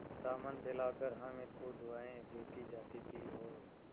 दामन फैलाकर हामिद को दुआएँ देती जाती थी और